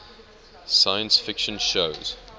science fiction shows